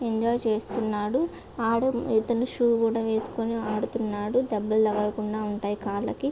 Enjoy చేస్తున్నాడు వాడు ఇతను శ్యు కూడా వేసుకొని ఆడుతున్నాడు దెబ్బలు తగలకుండా ఉంటాయి కార్లకి.